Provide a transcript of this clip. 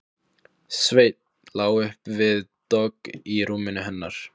Sveinn lá upp við dogg í rúminu hennar.